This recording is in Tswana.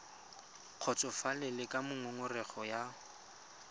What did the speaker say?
kgotsofalele ka moo ngongorego ya